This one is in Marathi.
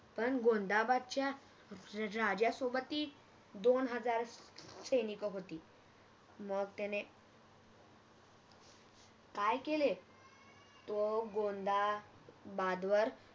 पण गोंदाबादच्या राजासोबतही दोन हजार सैनिक होती मग त्याने काय केले तो गोंदाबादवर